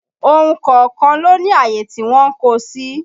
Ohun kọ̀ọ̀kan ló ní àyè tí wọ́n ń kó o sí